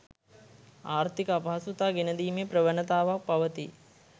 ආර්ථික අපහසුතා ගෙනදීමේ ප්‍රවණතාවක් පවතී.